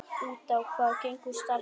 Út á hvað gengur starfið?